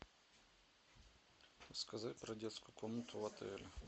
рассказать про детскую комнату в отеле